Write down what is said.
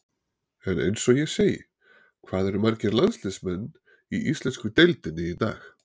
En eins og ég segi, hvað eru margir landsliðsmenn í íslensku deildinni í dag?